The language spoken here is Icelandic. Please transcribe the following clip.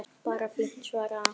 Bara fínt- svaraði hann.